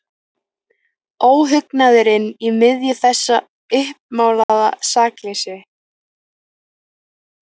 Óhugnaðurinn í miðju þessu uppmálaða sakleysi.